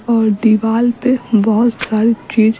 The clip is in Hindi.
दीवाल पे बहुत सारी चीज --